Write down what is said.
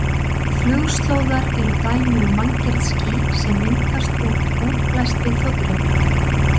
Flugslóðar eru dæmi um manngerð ský, sem myndast út útblæstri þotuhreyfla.